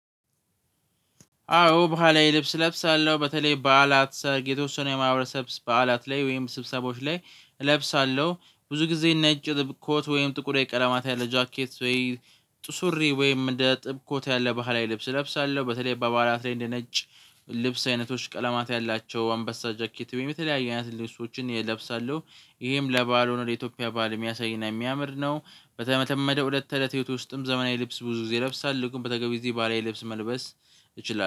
አዎ በህላዊ ልብስ እለብሳለሁ በተለይ በዓላት ሰርግ የተወሰነ የማህበረሰብ በዓላት ላይ ወይም ስብሰባዎች ላይ እለብሳለሁ። ብዙ ጊዜ ነጭ ኮት ወይም ጥቁር የቀለማት ያለ ጃኬት ወይ ጥቁር ሱሪ ወይም እንደ ጥቁር ኮት ያለ ባህላዊ ልብስ እለብሳለሁ በተለይ በባዓላት ላይ እንደ ነጭ ልብስ አይነቶች ቀለማት ያላቸው አንበሳ ጃኬት ወይም የተለያየ አይነት ልብሶችን የእለብሳለሁ። ይሄም ለባህል ሆኖ የኢትዮጵያን ባህል የሚያሳይና የሚያምር ነው። በተለመደው ዕለተ ዕለተ ህይወት ውስጥም ዘመናዊ ልብስ ብዙ ጊዜ እለብሳልሁ ግን በተገቢ ጊዜ ባህላዊ ልብስ መልበስ እችላለሁ